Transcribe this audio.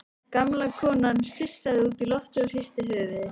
Gamla konan sussaði út í loftið og hristi höfuðið.